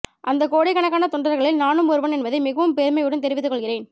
அந்த கோடிக்கணக்கான தொண்டர்களில் நானும் ஒருவன் என்பதை மிகவும் பெருமையுடன் தெரிவித்துக் கொள்கிறேன்